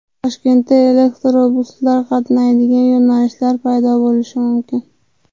Toshkentda elektrobuslar qatnaydigan yo‘nalishlar paydo bo‘lishi mumkin.